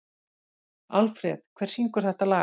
Alfreð, hver syngur þetta lag?